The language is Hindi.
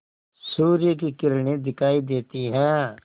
सूर्य की किरणें दिखाई देती हैं